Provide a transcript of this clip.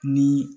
Ni